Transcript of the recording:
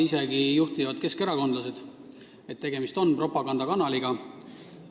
Isegi juhtivad keskerakondlased tunnistavad seda, et tegemist on propagandakanaliga.